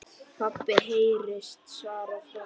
PABBI heyrist svarað frá kórnum.